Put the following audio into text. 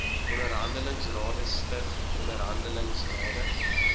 onderhandelingsrade stig onderhandelingsrade